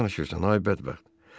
Nə danışırsan ay bədbəxt?